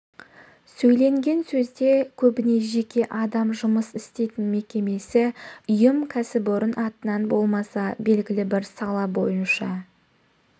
сөйленген сөзде көбіне жеке адам жұмыс істейтін мекемесі ұйым кәсіпорын атынан болмаса белгілі бір сала бойынша